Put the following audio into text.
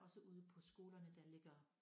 Også ude på skolerne der ligger